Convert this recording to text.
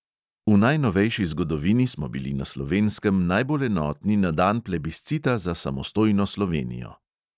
V najnovejši zgodovini smo bili na slovenskem najbolj enotni na dan plebiscita za samostojno slovenijo.